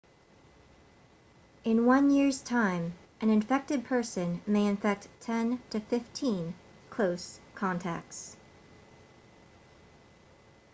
in one year's time an infected person may infect 10 to 15 close contacts